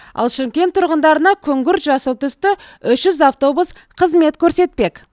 ал шымкент тұрғындарына күңгірт жасыл түсті үш жүз автобус қызмет көрсетпек